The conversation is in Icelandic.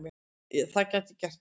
Það gæti gert það.